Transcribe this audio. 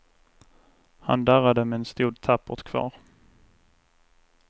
Han darrade men stod tappert kvar.